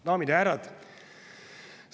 Daamid ja härrad!